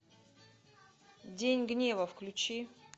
день гнева включи